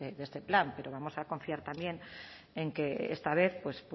de este plan pero vamos a confiar también en que esta vez pues